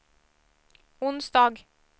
onsdag